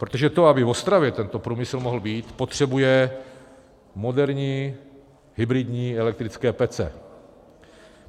Protože to, aby v Ostravě tento průmysl mohl být, potřebuje moderní hybridní elektrické pece.